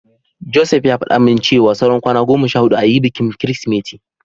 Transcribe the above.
Joseph ya faɗa min cewa saura kwana goma sha huɗu ayi bikin Kirsimeti.